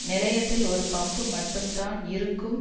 நிலையத்தில் ஒரு பம்ப் மட்டும் தான் இருக்கும்